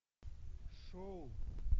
шоу